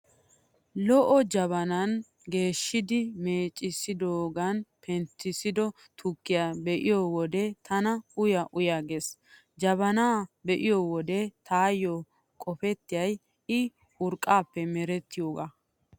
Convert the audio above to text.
Lo'o jabanaa geeshidi meeccidoogaani penttissido tukkiyaa be'iyo wode tana uya uya gees. Jabanaa be'iyo wode taayyo qopettiyay I urqqaappe merettiyoogaa.